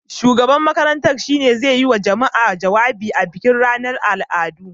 Shugaban makarantar shi ne zai yi wa jama'a jawabi a bikin ranar al'adu.